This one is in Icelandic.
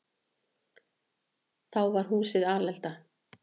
Þá var húsið alelda.